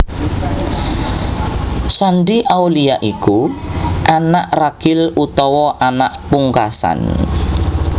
Shandy Aulia iku anak ragil utawa anak pungkasan